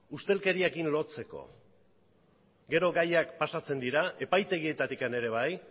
ustelkeriarekin lotzeko gero gaiak pasatzen dira epaitegietatik ere bai